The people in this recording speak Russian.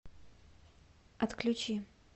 отключи